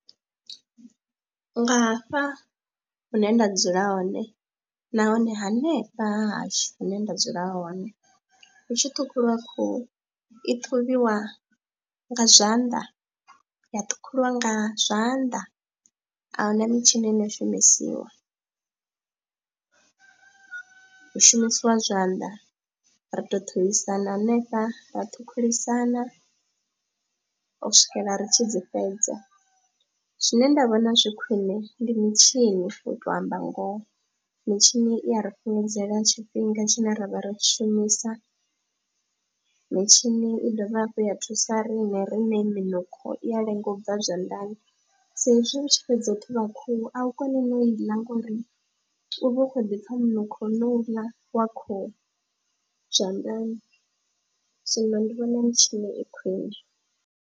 Nga hafha hune nda dzula hone nahone hanefha ha hashu hune nda dzula hone hu tshi ṱhukhuliwa khuhu i ṱhuvhiwa nga zwanḓa, ya ṱhukhuliwa nga zwanḓa, a hu na mitshini ine ya shumisiwa. Hu shumisiwa zwanḓa ra tou ṱhuvhisana hanefha ra ṱhukhulisana u swikela ri tshi dzi fhedza, zwine nda vhona zwi khwine ndi mitshini u tou amba ngoho, mitshini i a ri fhungudzela tshifhinga tshine ra vha ri tshi shumisa, mitshini i dovha hafhu ya thusa riṋe rine minukho i ya lenga u bva zwanḓani sa ezwi u tshi fhedza u ṱhuvha khuhu au koni no i ḽa ngori u vha u khou ḓi pfha munukho wo uḽa wa khuhu zwanḓani, zwino ndi vhona mitshini i khwine.